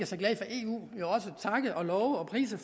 så glade for eu takke love og prise